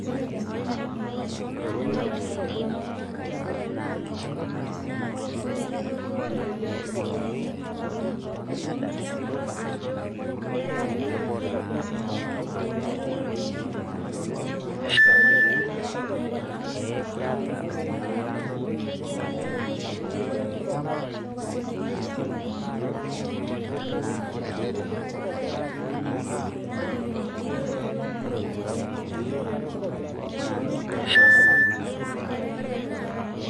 Kanyorr nanu ore ena mukunda natiu inchi kesidai oleng' amu kenapayu naa kebulu ninye tepooki wuei bora akeyie metaa kewoshi olchani nepiki enkare ekutosha.